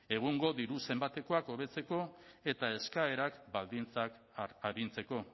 egungo diru zenbatekoak hobetzeko eta eskaerak baldintzak arintzeko